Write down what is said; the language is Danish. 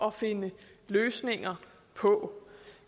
at finde løsninger på